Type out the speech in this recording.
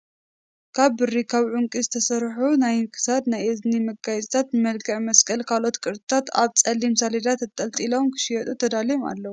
ካብ ብሪን ካብ ዕቒ ዝተሰርሑ ናይ ክሳድን ናይ እዝን መጋየፂታት ብመልክዕ መስቀልን ካልኦት ቅርፂታት ኣብ ፀሊም ሰሌዳ ተጠሊጢሎም ክሽየጡ ተዳልዮም ኣለው።